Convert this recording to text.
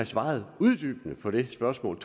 svaret uddybende på det spørgsmål